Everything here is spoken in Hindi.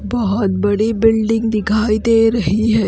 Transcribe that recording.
बहुत बडी बिल्डिंग दिखाई दे रही है।